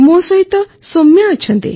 ମୋ ସହିତ ସୌମ୍ୟା ଅଛନ୍ତି